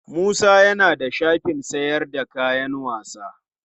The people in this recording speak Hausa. Musa ya na da shafin sayar da kayan sawa.